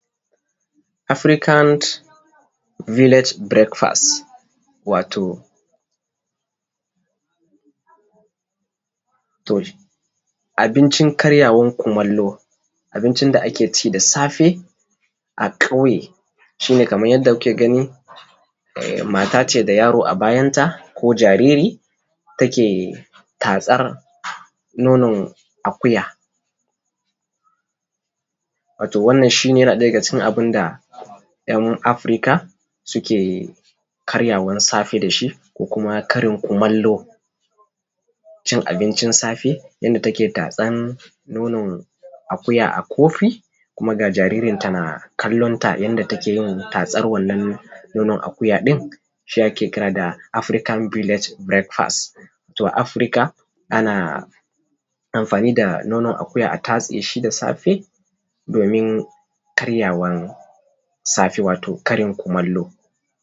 African village breakfast, wato abincin karyawar kumallo, abuncin da ake ci da safe a kauye. Shi ne kamar yadda kuke ga ni mata ce da yaro a bayanta ko jariri take tatsar nonon akuya wato wannan yana ɗaya daga cikin abun da ‘yan Afirka suke karyawan safe da shi. Kuma karin kumallo cin abincin safe yadda take tatsan nonon akuya a kofi. Kuma ga jaririnta na kallonta yadda take yin tatsan wannan nonon akuya din shi ake kira da African village breakfast. To a Afirka ana amfani da nonon akuya a tatse shi da safe domin karyawan safe wato karin kumallo.